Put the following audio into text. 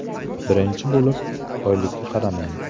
Birinchi bo‘lib oylikka qaramang!